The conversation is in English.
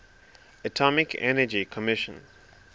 atomic energy commission